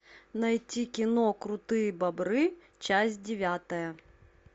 найти кино крутые бобры часть девятая